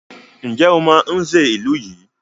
Ǹjẹ́ o mọ Nze ìlú yìí?